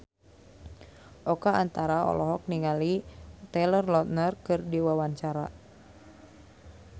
Oka Antara olohok ningali Taylor Lautner keur diwawancara